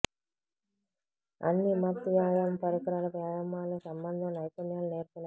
అన్ని మత్ వ్యాయామం పరికరాలు వ్యాయామాలు సంబంధం నైపుణ్యాలు నేర్పిన